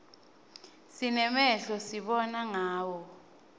sinemehlo sibona ngawo